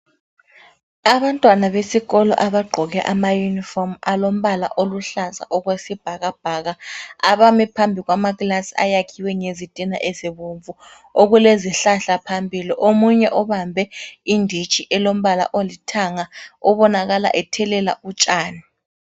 Abantwana besikolo abagqoke ama yunifomu alombala oluhlaza okwesibhakabhaka abami phambi kwama kilasi ayakhwe ngezitina ezibomvu. Okulezihlahla phambili omunye ubambe inditshi elombala olithanga obonakala ethelela utshani.